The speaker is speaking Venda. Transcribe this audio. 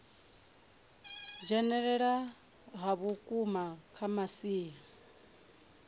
dzhenelela ha vhukuma kha masia